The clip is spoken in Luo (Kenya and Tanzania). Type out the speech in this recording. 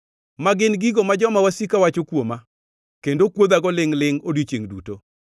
ma gin gigo ma joma wasika wacho kuoma kendo kuodhago lingʼ-lingʼ odiechiengʼ duto.